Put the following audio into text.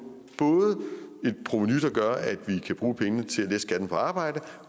et provenu der gør at vi kan bruge pengene til at lette skatten på arbejde